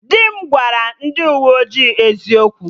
Di m gwara ndị uwe ojii eziokwu